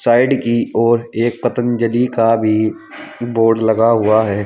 Side की ओर एक पतंजलि का भी बोर्ड लगा हुआ है।